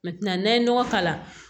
n'an ye nɔgɔ k'a la